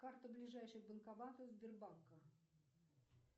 карта ближайших банкоматов сбербанка